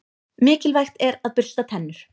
Mikilvægt er að bursta tennur.